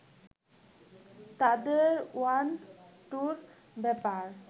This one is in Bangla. তাদের ওয়ান-টুর ব্যাপার